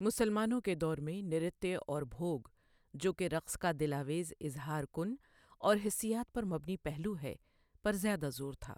مسلمانوں کے دور میں، نرتیہ اور بھوَگ جو کہ رقص کا دلآویز، اظہار کُن اور حسیات پر مبنی پہلو ہے، پر زیادہ زور تھا